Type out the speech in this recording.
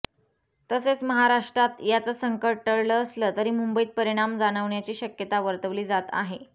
तसेच महाराष्ट्रात याचं संकट टळलं असलं तरी मुंबईत परिणाम जावणण्याची शक्यता वर्तवली जात आहे